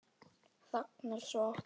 Þagnar svo aftur.